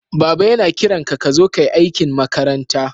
Baba yana kiran ka ka zo ka yi aikin makaranta.